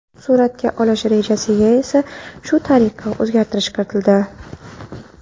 Suratga olish rejasiga esa shu tariqa o‘zgartirish kiritildi.